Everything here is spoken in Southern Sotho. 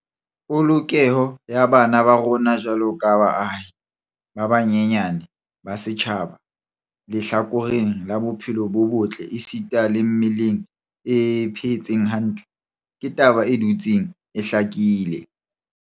Polokeho ya bana ba rona jwaloka baahi ba banyenyane ba setjhaba lehlakoreng la bophelo bo botle esita le mmeleng e phetseng hantle, ke taba e dutseng e hlakile.